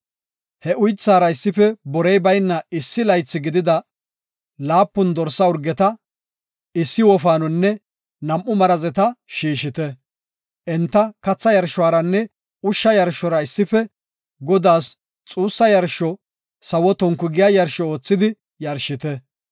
He uythaara issife borey bayna issi laythi gidida laapun dorsa urgeta, issi wofaanonne nam7u marazeta shiishite. Enta katha yarshoranne ushsha yarshora issife Godaas xuugetiya sawo tonku giya yarsho oothidi yarshite.